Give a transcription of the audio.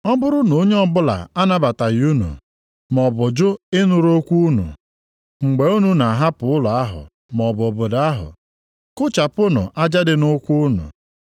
Ọ bụrụ na onye ọbụla anabataghị unu, maọbụ jụ ịnụrụ okwu unu, mgbe unu na-ahapụ ụlọ ahụ maọbụ obodo ahụ kụchapụnụ aja dị nʼụkwụ unu.